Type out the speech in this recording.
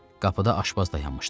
Qapıda aşpaz dayanmışdı.